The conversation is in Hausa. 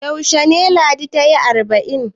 Yaushe ne Ladi ta yi arba'in?